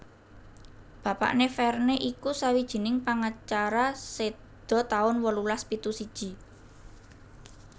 Bapakné Verne iku sawijining pangacara séda taun wolulas pitu siji